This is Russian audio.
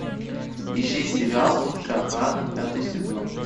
ищи сериал лучшая охрана пятый сезон